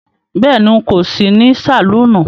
Béèni,n̄ kò sí ní sàlúúnù